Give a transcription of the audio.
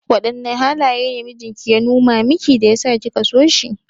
Wadanne halaye ne mijinki ya numa miki da yasa kika so shi?